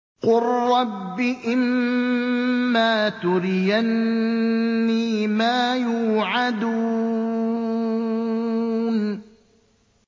قُل رَّبِّ إِمَّا تُرِيَنِّي مَا يُوعَدُونَ